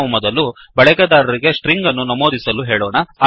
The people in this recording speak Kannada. ನಾವು ಮೊದಲು ಬಳಕೆದಾರರಿಗೆ ಸ್ಟ್ರಿಂಗ್ ಅನ್ನು ನಮೂದಿಸಲು ಹೇಳೋಣ